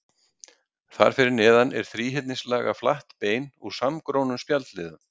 Þar fyrir neðan er þríhyrningslaga flatt bein úr samgrónum spjaldliðum.